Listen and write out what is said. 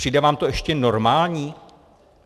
Přijde vám to ještě normální?